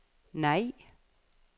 nej